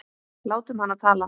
Látum hana tala.